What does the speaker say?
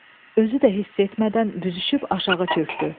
Özü də hiss etmədən büzüşüb aşağı çökdü.